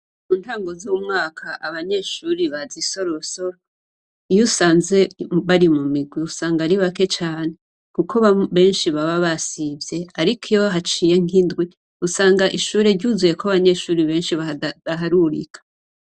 Muntango zumwaka abanyeshure baza isorosoro iyo usanze bari mumigwi usanga ari bake cane kuko benshi baba basivye ariko iyo haciye nkindwi usanga ishure ryuzuyeko abanyeshure benshi badaharurika.